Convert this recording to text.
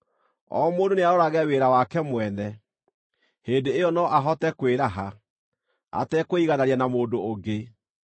O mũndũ nĩarorage wĩra wake mwene. Hĩndĩ ĩyo no ahote kwĩraha, atekwĩiganania na mũndũ ũngĩ,